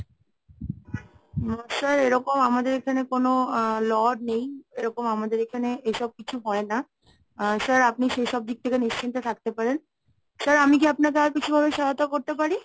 sir এরকম আমাদের এখানে কোনো আ law নেই। এরকম আমাদের এখানে এসব কিছু হয় না sir আপনি সেসব দিক থেকে নিশ্চিন্তে থাকতে পারেন। sir আমি কি আপনাকে আর কিছু ভাবে সহায়তা করতে পারি?